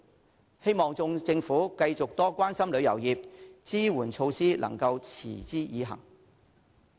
我希望政府繼續多關心旅遊業，支援措施能夠持之以恆。